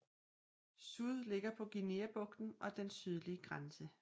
Sud ligger på Guineabrugten og den sydlige grænse